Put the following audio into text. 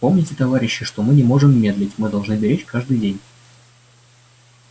помните товарищи что мы не можем медлить мы должны беречь каждый день